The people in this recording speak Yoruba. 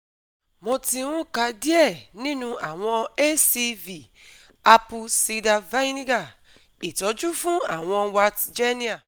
Eyín Eyín mi ẹ̀kẹfà òkè tí kò lè dúró tí a yọ ọdún mẹ́ta sẹ́yìn